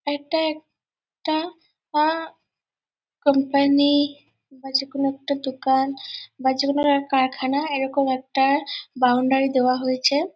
এইটা একটা আ কোম্পানি বা যেকোনো একটা দোকান বা যে কোনো একটা কারখানা এইরকম একটা বাউন্ডারি দেওয়া হয়েছে।